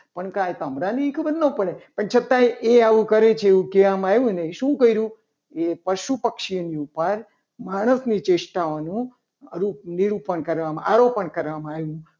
પણ સંભળાને કંઈ એવી ખબર ના પડે. પણ છતાં એ આવું કરે છે. એવું કહેવામાં આવ્યું. ને શું કર્યું કે પશુ પક્ષીઓની ઉપર માણસની ચેષ્ટાઓને નિરૂપણ કરવામાં આરોપણ કરવામાં આવ્યું.